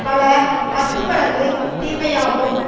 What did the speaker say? பல பத்து மடங்கு தீமை ஆகும்